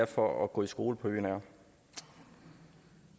for at gå i skole på øen er